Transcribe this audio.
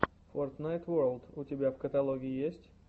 фортнайт ворлд у тебя в каталоге есть